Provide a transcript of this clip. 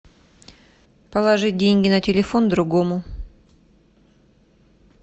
положить деньги на телефон другому